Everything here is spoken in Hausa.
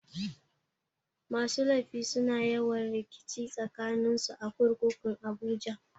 Masu laifi suna yawan rikici tsakanin su a kurkukun abuja.